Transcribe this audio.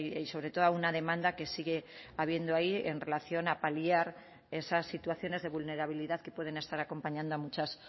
y sobre todo a una demanda que sigue habiendo ahí en relación a paliar esas situaciones de vulnerabilidad que pueden estar acompañando a muchas